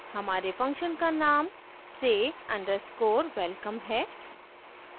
हमारे function का name say _ underscore welcome है